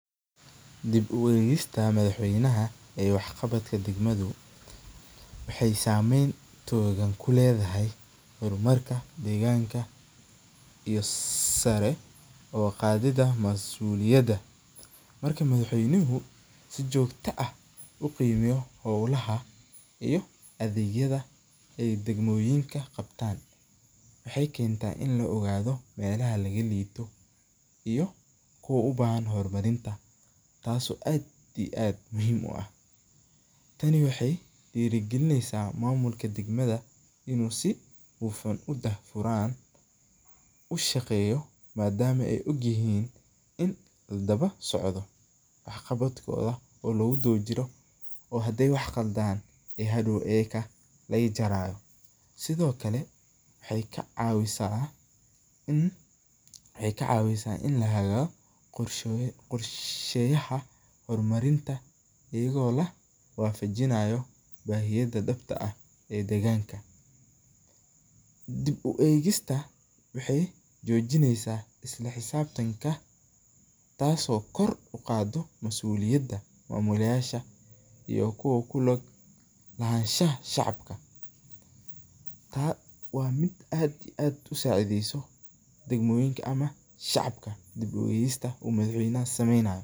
Dib u eegista madax weynaha ee wax qabadka degmadu waxeey sameyn toogan kuledahay hor marka deeganka iyo sari uqaadida masuliyada, marka madax weynuhu si joogta ah uqiimeyo holaha iyo adeegyadu ee degmoyinka qabtaan, waxeey keenta in uu ogaado meelaha laga liito iyo kuwa ubahan hor marinta taas oo aad iyo aad muhiim u ah, tani waxeey diiri galineysa maamulka deeganka inuu si hufan udaah furaan u shaqeeyo madama aay og yihiin in ladaba socdo wax qabadkooda oo lagu daba jiro oo hadeey wax qaladaan aay hadoow ayaga laga jaraayo, sido kale waxeey ka cawisa in lahelo qorsheyaha hor marinta ayado la wafijinaayo bahiyada dabta ah ee degaanka, dib u eegista waxeey jojineysa isla xisaabtanka taas oo kor uqaaado masuliyada mamulyasha iyo ku lug lahaanshaha shacabka, waa mid aad iyo aad usacideeso degmoyinka ama shacabka dib u geesita uu madax weynaha sameeynayo.